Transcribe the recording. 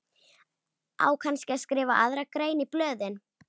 Á kannski að skrifa aðra grein í blöðin?